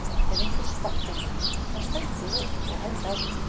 Ef einhver sparkar í mig, þá stend ég upp og held áfram.